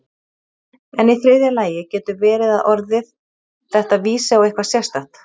En í þriðja lagi getur verið að orðið þetta vísi á eitthvað sérstakt.